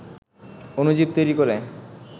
অণুজীব তৈরি করে